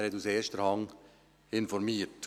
Er hat aus erster Hand informiert.